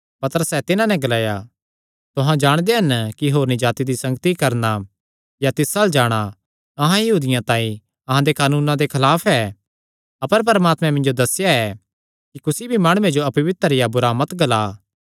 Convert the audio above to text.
पतरसैं तिन्हां नैं ग्लाया तुहां जाणदे हन कि होरनी जाति दी संगति करणा या तिस अल्ल जाणा अहां यहूदियां तांई अहां दे कानूना दे खलाफ ऐ अपर परमात्मैं मिन्जो दस्सेया ऐ कि कुसी भी माणुये जो अपवित्र या बुरा मत ग्ला